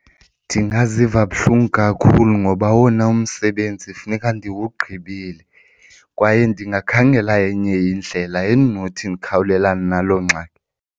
Ndingaziva buhlungu kakhulu ngoba owona umsebenzi funeka ndiwugqibile kwaye ndingakhangela enye indlela endinothi ndikhawulelane naloo ngxaki.